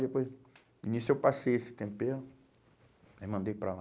E depois, nisso eu passei esse tempero e aí mandei para lá.